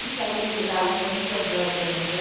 E saímos de lá uma, duas horas da manhã.